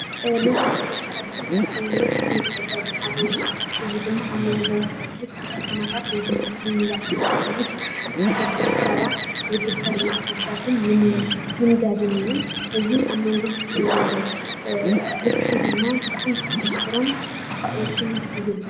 ልውውጥ ውሽጢ ዓዲ ካብቶም ንግድን ምትዕድዳግን ሓደ እዩ:: እዚ ድማ ኣብ ሞንጎ ክልተ ከተማታት ወይ ድማ ክልላት ኣብ ዉሽጢ ሓንቲ ሃገር ዝርከባ ዝግበር ምትዕድዳግን ምንጋድን እዩ:: እዚ ኣብ መንጎ ክልትኤን ዘሎ ርክብ ድማ ብጣዕሚ ከጠናክሮን ክከዕብቶን ይገብር::